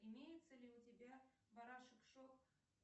имеется ли у тебя барашек шон